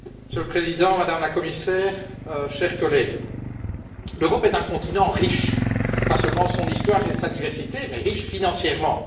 Monsieur le Président, Madame la Commissaire, chers collègues, l'Europe est un continent riche, pas seulement par son histoire et sa diversité mais riche financièrement.